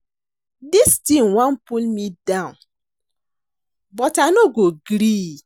Dis thing wan pull me down but I no go gree